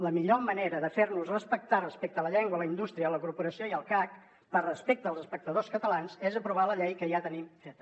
la millor manera de fer nos respectar respecte a la llengua la indústria la corporació i el cac per respecte als espectadors catalans és aprovar la llei que ja tenim feta